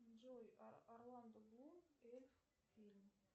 джой орландо блум эльф фильм